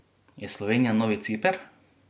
Je Slovenija novi Ciper?